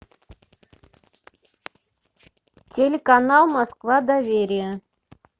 телеканал москва доверие